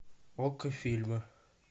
окко фильмы